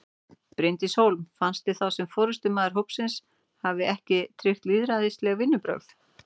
Bryndís Hólm: Finnst þér þá sem forystumaður hópsins hafi ekki tryggt lýðræðisleg vinnubrögð?